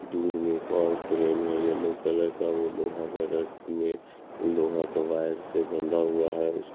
दूर में एक और क्रेन है येलो कलर का वो लोहा गरट में लोहा का वायर से बंधा हुआ है उस--